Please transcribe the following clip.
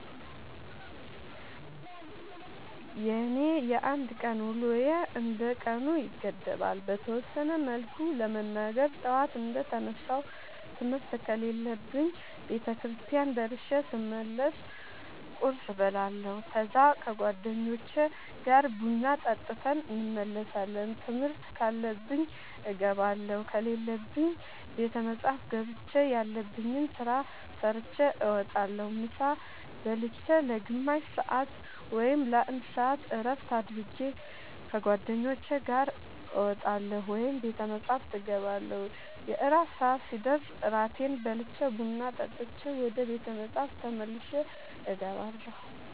የኔ የአንድ ቀን ውሎዬ እንደ ቀኑ ይገደባል። በተወሰነ መልኩ ለመናገር ጠዋት እንደ ተነሳሁ ትምህርት ከሌለብኝ ቤተክርስቲያን ደርሼ ስመለስ ቁርስ እበላለሁ ከዛ ከ ጓደኞቼ ጋር ቡና ጠጥተን እንመለሳለን ትምህርት ካለብኝ እገባለሁ ከሌለብኝ ቤተ መፅሐፍ ገብቼ ያለብኝን ስራ ሰርቼ እወጣለሁ። ምሳ ብልቼ ለ ግማሽ ሰአት ወይም ለ አንድ ሰአት እረፍት አድርጌ ከ ጓደኞቼ ጋር እወጣለሁ ወይም ቤተ መፅሐፍ እገባለሁ። የእራት ሰአት ሲደርስ እራቴን በልቼ ቡና ጠጥቼ ወደ ቤተ መፅሐፍ ተመልሼ እገባለሁ።